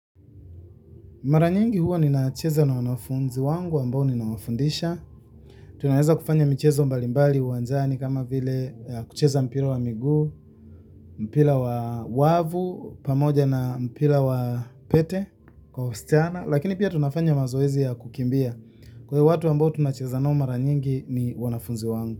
Mara nyingi huwa ninacheza na wanafunzi wangu ambao ninawafundisha. Tunaweza kufanya michezo mbalimbali uwanjani kama vile kucheza mpira wa miguu, mpira wa wavu pamoja na mpira wa pete kwa wasichana. Lakini pia tunafanya mazoezi ya kukimbia, kwa hivyo watu ambao tunacheza na wanafunzi wangu.